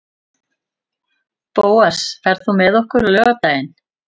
Bóas, ferð þú með okkur á laugardaginn?